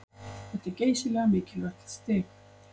Þetta er geysilega mikilvægt stig